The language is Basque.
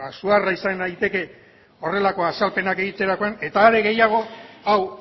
suharra izan daiteke horrelako azalpenak egiterakoan eta are gehiago hau